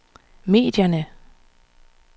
medierne